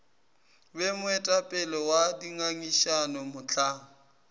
be moetapele wa dingangišano mohlang